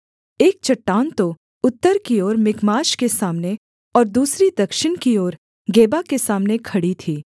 एक चट्टान तो उत्तर की ओर मिकमाश के सामने और दूसरी दक्षिण की ओर गेबा के सामने खड़ी थी